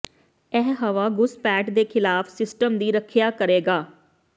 ਇਹ ਹਵਾ ਘੁਸਪੈਠ ਦੇ ਖਿਲਾਫ ਸਿਸਟਮ ਦੀ ਰੱਖਿਆ ਕਰੇਗਾ